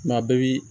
Maa bɛɛ bi